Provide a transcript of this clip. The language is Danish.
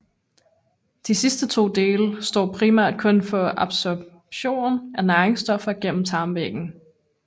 De sidste to dele står primært kun for absorbsion af næringsstoffer igennem tarmvæggen